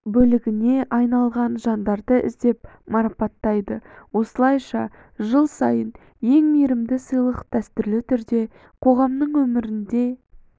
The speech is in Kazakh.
бөлігіне айналған жандарды іздеп марапаттайды осылайша жыл сайын ең мейірімді сыйлық дәстүрлі түрде қоғамның өмірінде